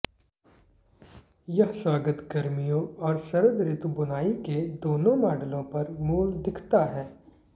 यह स्वागत गर्मियों और शरद ऋतु बुनाई के दोनों मॉडलों पर मूल दिखता है